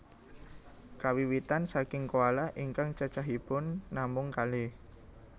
Kawiwitan saking koala ingkang cacahipun namung kalih